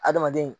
Adamaden